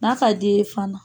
N'a ka d'i ye fana